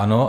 Ano.